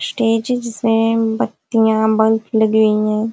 Stages हैं। बत्तियां bulb लगी हुई हैं।